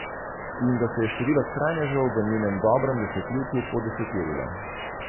In da se je število skrajnežev v njenem dobrem desetletju podeseterilo.